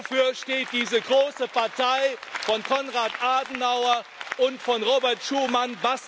Wofür steht diese große Partei von Konrad Adenauer und von Robert Schuman?